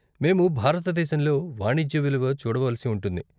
మేము భారతదేశంలో వాణిజ్య విలువ చూడవలసి ఉంటుంది.